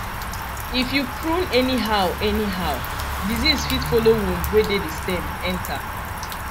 if you prune anyhow anyhow disease fit follow wound wey dey the stem enter